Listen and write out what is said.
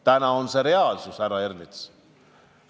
Täna on see reaalsus, härra Ernits.